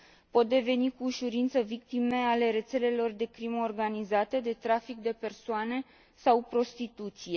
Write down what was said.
Pot deveni cu ușurință victime ale rețelelor de crimă organizată, de trafic de persoane sau de prostituție.